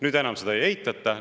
Nüüd enam seda ei eitata.